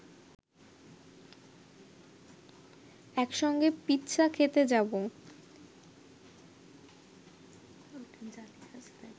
একসঙ্গে পিৎসা খেতে যাব